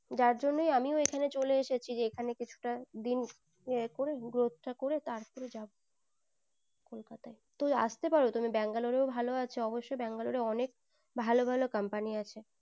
যার জন্যই আমিও এখানে চলে এসেছি যেখানে কিছুটা দিন এ করে growth তা করে তারপরে যাবো কলকাতায় তো আস্তে পারো তুমি Bangalore ভালো আছো অবশই Bangalore অনেক ভালো ভালো company আছে